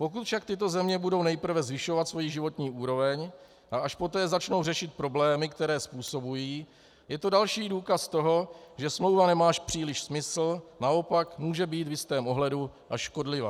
Pokud však tyto země budou nejprve zvyšovat svoji životní úroveň a až poté začnou řešit problémy, které způsobují, je to další důkaz toho, že smlouva nemá příliš smysl, naopak může být v jistém ohledu až škodlivá.